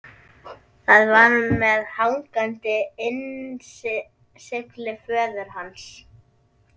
Það var með hangandi innsigli föður hans.